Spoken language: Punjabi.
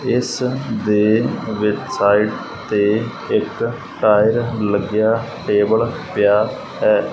ਇਸ ਦੇ ਵਿੱਚ ਸਾਈਡ ਤੇ ਇੱਕ ਟਾਇਰ ਲੱਗਿਆ ਟੇਬਲ ਪਿਆ ਹੈ।